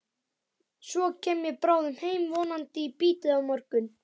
Svo kem ég bráðum heim, vonandi í bítið á morgun.